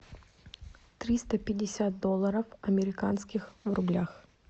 триста пятьдесят долларов американских в рублях